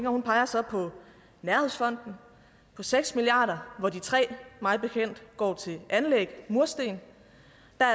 og hun peger så på nærhedsfonden på seks milliard kr hvor de tre milliard mig bekendt går til anlæg mursten